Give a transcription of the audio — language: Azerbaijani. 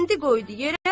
Qəndi qoydu yerə.